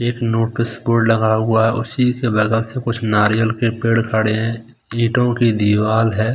एक notice board लगा हुआ है उसी के बगल से कुछ नारियल के पेड़ खड़े हैं एक मोटी दिवाल है।